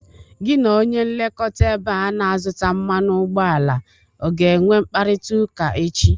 Gi na onye nlekọta ebe a na-azụta mmanụ ụgbọala ọ ga-enwe mkpariịaụka echi?